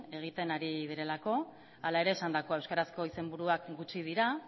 egiten ari direlako hala ere esandakoa euskarazko izenburuak gutxi dira